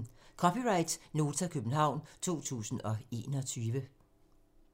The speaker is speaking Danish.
(c) Nota, København 2021